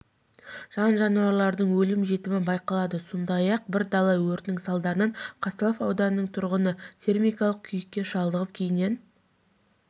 жан-жануарлардың өлім-жітімі байқалады сондай бір дала өртінің салдарынан казталов ауданының тұрғыны термикалық күйікке шалдығып кейіннен